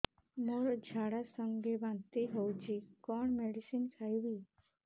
ମୋର ଝାଡା ସଂଗେ ବାନ୍ତି ହଉଚି କଣ ମେଡିସିନ ଖାଇବି